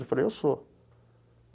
Eu falei, eu sou.